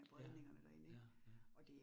Ja. ja, ja